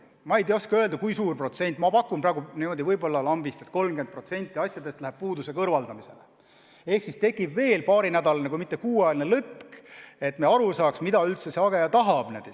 Ma ei oska öelda, kui suure protsendiga tegu on, aga pakun niimoodi lambist, et 30% asjade puhul on vaja see puudus kõrvaldada, ehk siis tekib veel paarinädalane kui mitte kuuajaline lõtk, et me aru saaks, mida hageja üldse tahab.